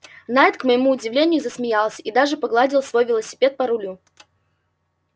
найд к моему удивлению засмеялся и даже погладил свой велосипед по рулю